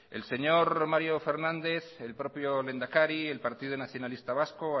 el señor mario fernández el propio lehendakari el partido nacionalista vasco